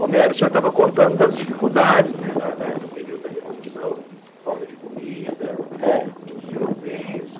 Romero, o senhor estava contando das dificuldades, né, da da do período da Revolução, falta de comida. É. Os tiroteios.